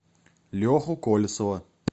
леху колесова